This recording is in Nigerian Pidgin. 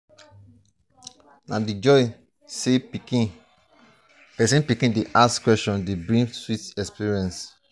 na di joy sey pesin pikin dey ask questions dey bring sweet experience.